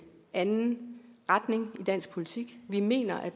anden retning i dansk politik vi mener at